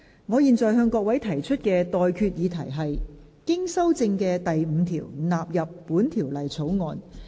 我現在向各位提出的待決議題是：經修正的第5條納入本條例草案。